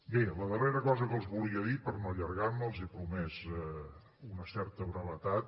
bé la darrera cosa que els volia dir per no allargar me els he promès una certa brevetat